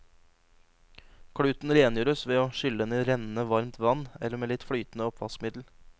Kluten rengjøres ved å skylle den i rennende, varmt vann, eller med litt flytende oppvaskmiddel.